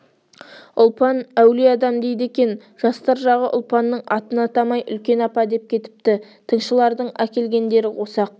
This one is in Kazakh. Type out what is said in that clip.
ұлпан әулие адам дейді екен жастар жағы ұлпанның атын атамай үлкен апа деп кетіпті тыңшылардың әкелгендері осы-ақ